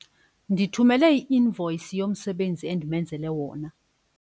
Ndithumele i-invoyisi yomsebenzi endimenzele wona.